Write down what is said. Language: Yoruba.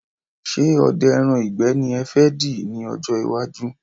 Ṣé odẹ ẹran ìgbẹ́ ni ẹ fẹ dì ní ọ̀jọ iwájú?